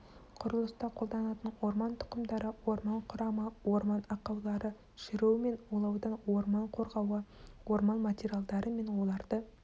құрылыста қолданылатын орман тұқымдары орман құрамы орман ақаулары шіруі мен улаудан орман қорғауы орман материалдары мен оларды